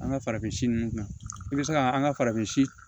An ka farafin ninnu kunna i bɛ se ka an ka farafin